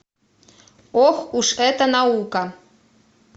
ох уж эта наука